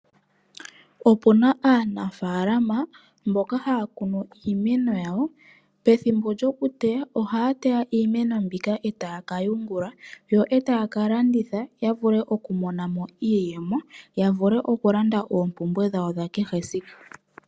Opu na aanafalama mboka haya kunu iimeno yawo. Pethimbo lyokuteya ohaya teya iimeno mbika e taya ka yungula yo e taya ka landitha ya vule okumona mo iiyemo ya vule okulanda oompumbwe dhawo dhakehe esiku.